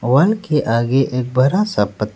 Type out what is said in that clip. one के आगे एक बड़ा सा पथ--